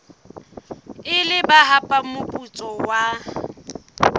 ile ba hapa moputso wa